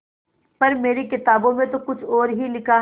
पर मेरी किताबों में तो कुछ और ही लिखा है